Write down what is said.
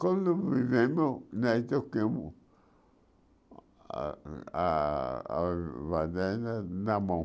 Quando vivemos, nós tocavamos a a a fazenda na mão.